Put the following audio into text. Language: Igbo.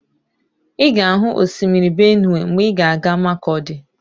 Ị ga-ahụ osimiri Benụwe mgbe ị ga-aga Makọdi